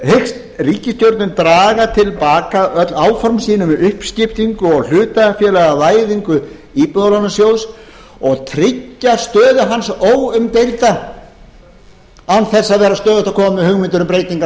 hyggst ríkisstjórnin draga til baka öll áform sín um uppskiptingu og hlutafélagavæðingu íbúðalánasjóð og tryggja stöðu hans óumdeilda án þess að vera stöðugt að koma með hugmyndir um breytingar þar á ég